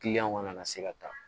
kana na se ka taa